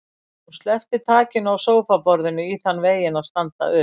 Hún sleppti takinu á sófaborðinu í þann veginn að standa upp.